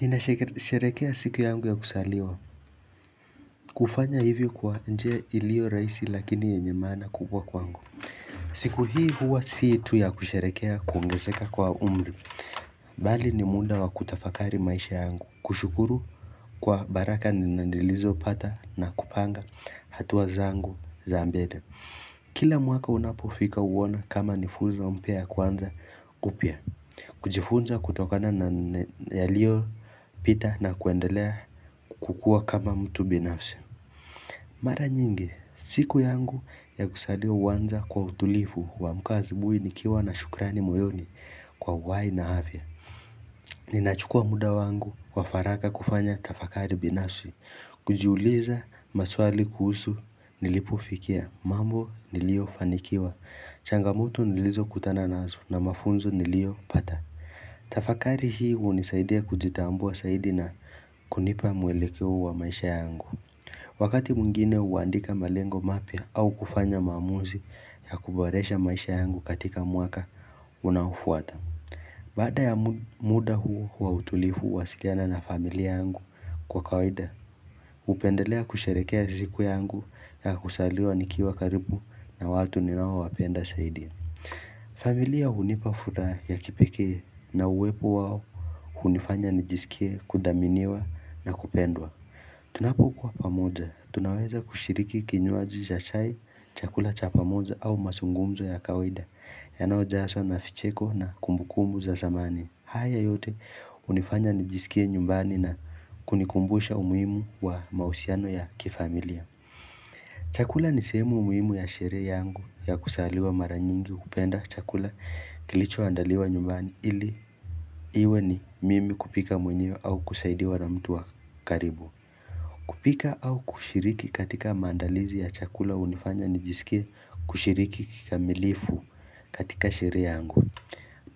Ninasherekea siku yangu ya kuzaliwa kufanya hivyo kwa njia iliyo rahisi lakini yenye maana kubwa kwangu siku hii huwa si tu ya kusherekea kuongezeka kwa umri Bali ni muda wa kutafakari maisha yangu kushukuru Kwa baraka niilizopata na kupanga hatua zangu za mbele Kila mwaka unapofika huona kama ni funzo mpya kuanza upya kujifunza kutokana na yaliyopita na kuendelea kukua kama mtu binafsi Mara nyingi, siku yangu ya kuzaliwa huanza kwa utulivu. Kuamka asubuhi nikiwa na shukrani moyoni kwa uhai na afya Ninachukua muda wangu wa faraka kufanya tafakari binafsi kujiuliza maswali kuhusu nilipofikia mambo niliyofanikiwa changamoto nilizokutana nazo na mafunzo niliyopata Tafakari hii hunisaidia kujitambua zaidi na kunipa mwelekeo wa maisha yangu Wakati mwingine huandika malengo mapya au kufanya maamuzi ya kuboresha maisha yangu katika mwaka unaofuata Baada ya muda huu wa utulivu wa sikiana na familia yangu kwa kawaida, hupendelea kusherekea siku yangu ya kuzaliwa nikiwa karibu na watu ninaowapenda zaidi familia hunipa furaha ya kipekee na uwepo wao hunifanya nijisikie kudhaminiwa na kupendwa Tunapokuwa pamoja, tunaweza kushiriki kinywaji cha chai chakula cha pamoja au mazungumzo ya kawaida Yanayojazwa na vicheko na kumbukumu za zamani. Haya yote hunifanya nijisikie nyumbani na kunikumbusha umuhimu wa mahusiano ya kifamilia Chakula ni sehemu muhimu ya sherehe yangu ya kuzaliwa maranyingi kupenda chakula kilichoandaliwa nyumbani ili iwe ni mimi kupika mwenyewe au kusaidiwa na mtu wa karibu. Kupika au kushiriki katika maandalizi ya chakula hunifanya nijisikia kushiriki kikamilifu katika sherehe yangu.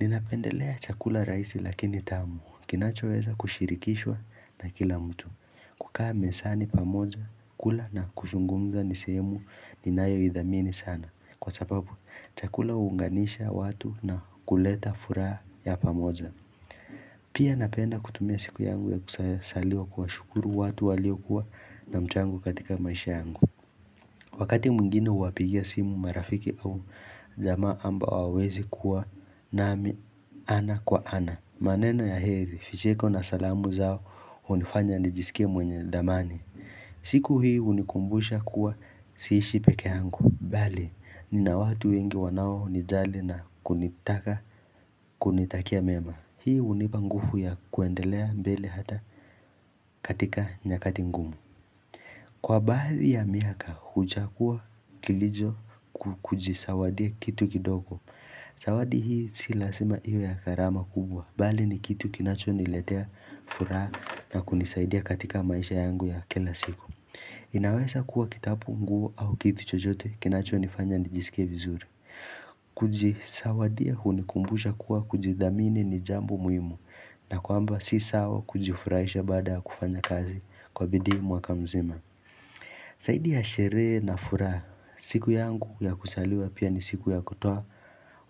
Ninapendelea chakula rahisi lakini tamu kinachoweza kushirikishwa na kila mtu. Kukaa mezani pamoja, kula na kuzungumza ni sehemu ninayoidhamini sana Kwa sababu, chakula huunganisha watu na kuleta furaha ya pamoja Pia napenda kutumia siku yangu ya kuzaliwa kuwashukuru watu waliokuwa na mchango katika maisha yangu Wakati mwingini huwapigia simu marafiki au jamaa ambao hawawezi kuwa nami ana kwa ana maneno ya heri, vicheko na salamu zao hunifanya nijisikie mwenye dhamani. Siku hii hunikumbusha kuwa siishi pekee yangu. Bali, nina watu wengi wanaonijali na kunitaka kunitakia mema. Hii hunipa nguvu ya kuendelea mbele hata katika nyakati ngumu. Kwa baadhi ya miaka, huchagua kilicho kujizawadia kitu kidogo. Zawadi hii si lazima iwe ya gharama kubwa. Bali ni kitu kinachoniletea furaha na kunisaidia katika maisha yangu ya kila siku. Inaweza kuwa kitabu nguo au kitu chochote kinachonifanya nijisike vizuri. Kujizawadia hunikumbusha kuwa kujidhamini ni jambo muhimu. Na kwamba si sawa kujifurahisha baada ya kufanya kazi kwa bidii mwaka mzima. Zaidi ya sherehe na furaha siku yangu ya kuzaliwa pia ni siku ya kutoa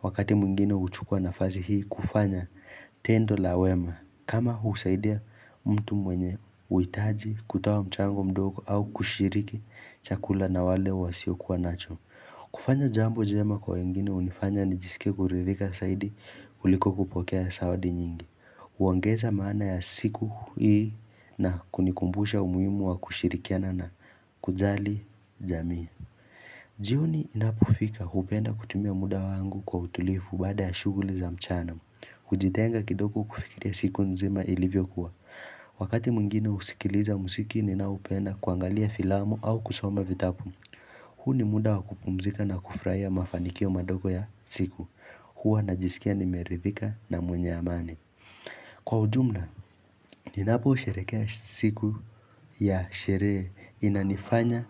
wakati mwingine huchukua nafasi hii kufanya tendo la wema kama kusaidia mtu mwenye uhitaji kutoa mchango mdogo au kushiriki chakula na wale wasiokuwa nacho kufanya jambo jema kwa wengine hunifanya nijisikie kuridhika zaidi kuliko kupokea zawadi nyingi. Huongeza maana ya siku hii na kunikumbusha umuhimu wa kushirikiana na kujali jamii. Jioni inapofika hupenda kutumia muda wangu kwa utulivu baada ya shughuli za mchana. Hujitenga kidogo kufikiria siku nzima ilivyokuwa. Wakati mwingine husikiliza muziki ninaoupenda kuangalia filamu au kusoma vitabu. Huu ni muda wa kupumzika na kufurahia mafanikio madogo ya siku. Huwa najisikia nimeridhika na mwenye amani. Kwa ujumla, ninapousherekea siku ya sherehe inanifanya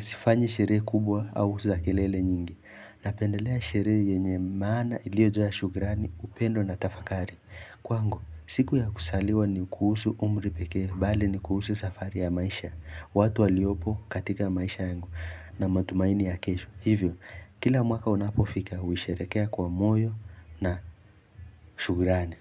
sifanyi sherehe kubwa au za kelele nyingi. Napendelea sherehe yenye maana iliyojaa shukrani upendo na tafakari. Kwangu, siku ya kuzaliwa ni kuhusu umri pekee, bali ni kuhusu safari ya maisha, watu waliopo katika maisha yangu na matumaini ya kesho. Hivyo, kila mwaka unapofika, huisherekea kwa moyo na shukrani.